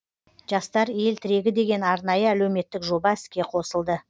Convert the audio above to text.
жастар ел тірегі деген арнайы әлеуметтік жоба іске қосылды